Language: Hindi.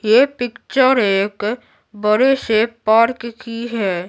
ये पिक्चर एक बड़े से पार्क की है।